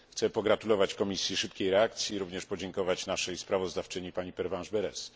Chcę pogratulować Komisji szybkiej reakcji, a także podziękować naszej sprawozdawczyni, pani Pervenche Berès.